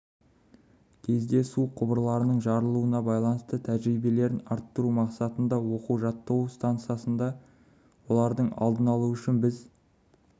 кезде су құбырларының жарылуына байланысты тәжірибелерін арттыру мақсатында оқу-жаттығу стансасында олардың алдын алу үшін біз